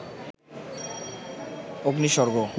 অগ্নি স্বর্গ